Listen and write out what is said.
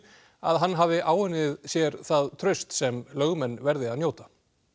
að hann hafi áunnið sér það traust sem lögmenn verði að njóta